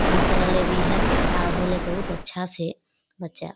हस रहले भी है खड़ा होले बहुत अच्छा से बच्चा।